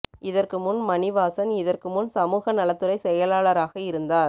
இதற்கு முன் மணிவாசன் இதற்கு முன் சமூக நலத்துறை செயலாளராக இருந்தார்